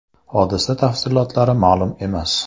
Hodisa tafsilotlari ma’lum emas.